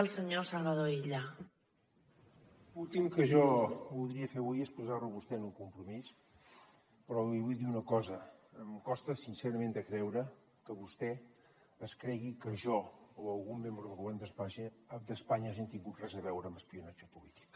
l’últim que jo voldria fer avui és posar lo a vostè en un compromís però li vull dir una cosa em costa sincerament de creure que vostè es cregui que jo o algun membre del govern d’espanya hagi tingut res a veure amb espionatge polític